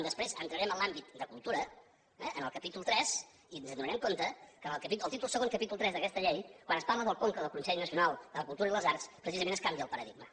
després entraré en l’àmbit de cultura eh en el capítol iii i ens adonarem que al títol segon capítol iii d’aquesta llei quan es parla del conca del consell nacional de la cultura i les arts precisament es canvia el paradigma